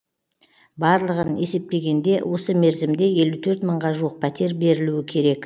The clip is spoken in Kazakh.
барлығын есептегенде осы мерзімде елу төрт мыңға жуық пәтер берілуі керек